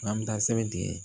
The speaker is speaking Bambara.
An bɛ taa sɛbɛn tigɛ